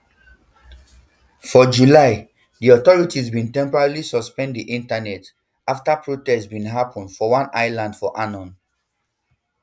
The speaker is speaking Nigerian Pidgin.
for july um di authorities bin temporarily suspend um di internet afta protests bin happun for one island of annobn